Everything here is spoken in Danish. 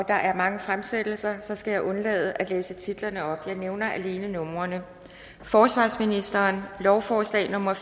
der er mange fremsættelser skal jeg undlade at læse titlerne op jeg nævner alene numrene forsvarsministeren lovforslag nummer